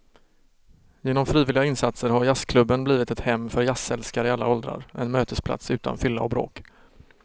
Genom frivilliga insatser har jazzklubben blivit ett hem för jazzälskare i alla åldrar, en mötesplats utan fylla och bråk.